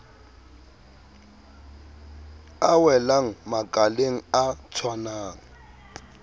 a welang makaleng a tshwanang